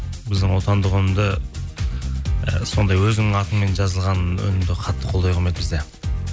біздің отандық өнімді і сондай өзінің атымен жазылған өнімді қатты қолдай қоймайды бізде